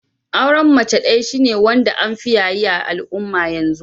Auren mace daya shine wanda an fi yaye a'alumma yanzu.